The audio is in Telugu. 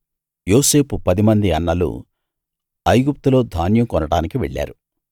యోసేపు పదిమంది అన్నలు ఐగుప్తులో ధాన్యం కొనడానికి వెళ్ళారు